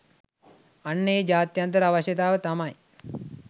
අන්න ඒ ජාත්‍යන්තර අවශ්‍යතාව තමයි